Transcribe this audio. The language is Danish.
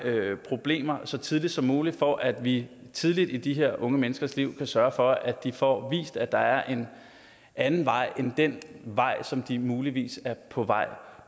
problemer så tidligt som muligt for at vi tidligt i de her unge menneskers liv kan sørge for at de får vist at der er en anden vej end den vej som de muligvis er på vej